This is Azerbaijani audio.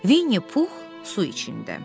Vinni Pux su içində.